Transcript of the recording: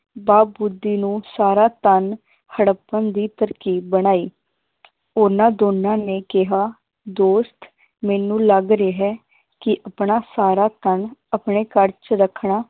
ਬਾ ਬੁੱਧੀ ਨੂੰ ਸਾਰਾ ਧਨ ਹੜੱਪਣ ਦੀ ਤਰਕੀਬ ਬਣਾਈ ਉਹਨਾਂ ਦੋਨਾਂ ਨੇ ਕਿਹਾ ਦੋਸਤ ਮੈਨੂੰ ਲੱਗ ਰਿਹਾ ਹੈ, ਕਿ ਆਪਣਾ ਸਾਰਾ ਧਨ ਆਪਣੇ ਘਰ ਚ ਰੱਖਣਾ